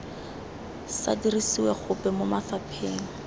sa dirisiwe gope mo mafapheng